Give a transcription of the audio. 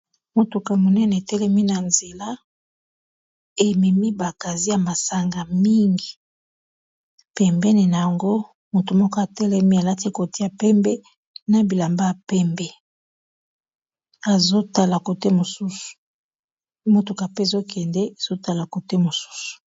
Motuka monene etelemi na nzela ememi ba cassier ya masanga mingi pembeni nango motu moko atelemi alati ekoti ya pembe na bilamba ya pembe motuka pe ezokende azotala kote mosusu.